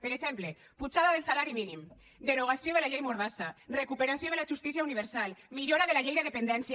per exemple pujada del salari mínim derogació de la llei mordassa recuperació de la justícia universal millora de la llei de dependència